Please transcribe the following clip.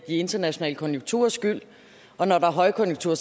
internationale konjunkturers skyld og når der er højkonjunktur